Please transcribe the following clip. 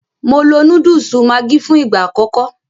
Mo lo Núdùùsù Maggi fún ìgbà àkọ́kọ́